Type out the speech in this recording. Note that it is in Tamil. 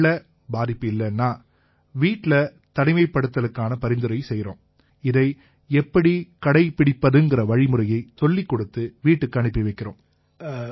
ஒருவேளை பாதிப்பு இல்லைன்னா வீட்டிலேயே தனிமைப்படுத்தலுக்கான பரிந்துரை செய்யறோம் இதை எப்படி கடைப்பிடிப்பதுங்கற வழிமுறையை சொல்லிக்கொடுத்து வீட்டுக்கு அனுப்பி வைக்கறோம்